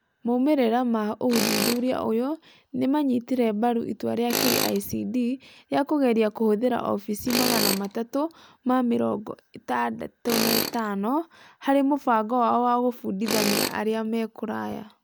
Moimĩrĩra ma ũthuthuria ũyũ nĩ maanyitire mbaru itua rĩa KICD rĩa kũgeria kũhũthĩra Office365 harĩ mũbango wao wa kũbundithania arĩa me kũraya.